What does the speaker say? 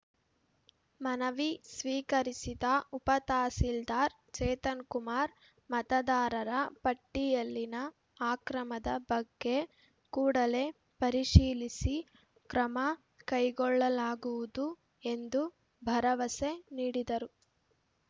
ಮನವಿ ಸ್ವೀಕರಿಸಿದ ಉಪತಹಸೀಲ್ದಾರ್‌ ಚೇತನ್‌ಕುಮಾರ್‌ ಮತದಾರರ ಪಟ್ಟಿಯಲ್ಲಿನ ಅಕ್ರಮದ ಬಗ್ಗೆ ಕೂಡಲೇ ಪರಿಶೀಲಿಸಿ ಕ್ರಮ ಕೈಗೊಳ್ಳಲಾಗುವುದು ಎಂದು ಭರವಸೆ ನೀಡಿದರು